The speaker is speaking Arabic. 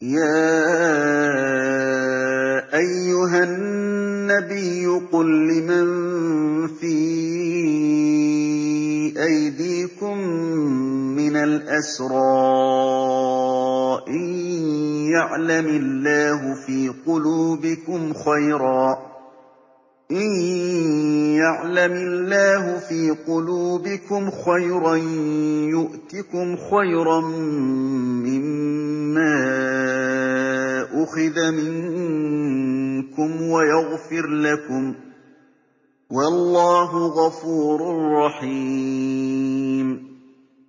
يَا أَيُّهَا النَّبِيُّ قُل لِّمَن فِي أَيْدِيكُم مِّنَ الْأَسْرَىٰ إِن يَعْلَمِ اللَّهُ فِي قُلُوبِكُمْ خَيْرًا يُؤْتِكُمْ خَيْرًا مِّمَّا أُخِذَ مِنكُمْ وَيَغْفِرْ لَكُمْ ۗ وَاللَّهُ غَفُورٌ رَّحِيمٌ